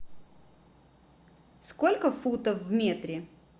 сколько футов в метре